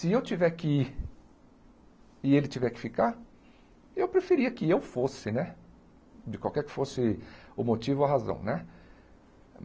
Se eu tiver que ir e ele tiver que ficar, eu preferia que eu fosse né, de qualquer que fosse o motivo ou a razão né.